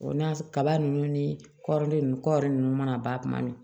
O n'a kaba ninnu ni kɔrɔnin kɔri ninnu mana ban kuma min